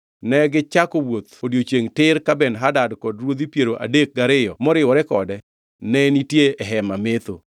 Negichako wuoth odiechiengʼ tir ka Ben-Hadad kod ruodhi piero adek gariyo moriwore kode ne nitie e hema metho.